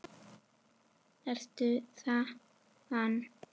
Ertu þaðan?